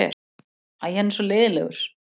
Æ, hann var svo leiðinlegur.